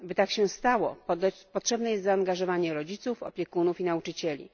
By tak się stało, potrzebne jest zaangażowanie rodziców, opiekunów i nauczycieli.